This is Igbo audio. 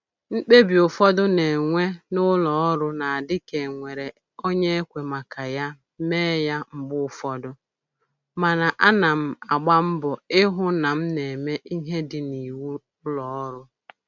Mkpebi ụfọdụ a na-enwe n'ụlọ ọrụ na-adị ka e nwere onye e kwe maka ya mee ya mgbe ụfọdụ, mana ana m agba mbọ ịhụ na m na-eme ihe dị n'iwu ụlọ ọrụ